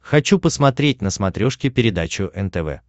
хочу посмотреть на смотрешке передачу нтв